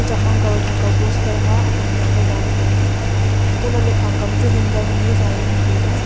chak nong kaw thak kaw poster ma okhomiya nikha zale tailey antoh lah ley phang kaw ma chu hanger ma ni a za jawnu tailey.